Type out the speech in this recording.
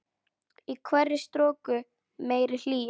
Í hverri stroku meiri hlýja.